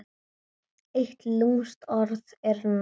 Eitt lúmskt orð er nóg.